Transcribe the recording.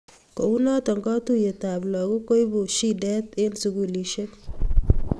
kounoto katuyet ap lakok koibu shidet eng sukulisiek